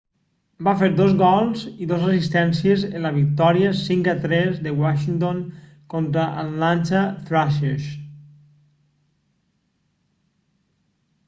va fer 2 gols i 2 assistències en la victòria 5 a 3 de washington contra els atlanta thrashers